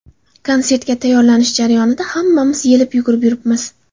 Konsertga tayyorlanish jarayonida hammamiz yelib-yugurib yuribmiz.